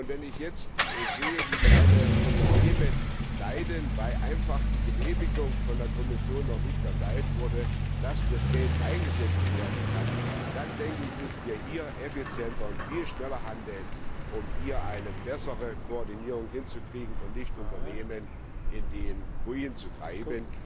Und wenn ich jetzt sehe, wie meine Unternehmen leiden, weil einfach die Genehmigung von der Kommission noch nicht erteilt wurde, dass das Geld eingesetzt werden kann, dann müssen wir effizienter und viel schneller handeln, um hier eine bessere Koordinierung hinzukriegen und nicht Unternehmen durch bürokratische Hürden in den Ruin zu treiben.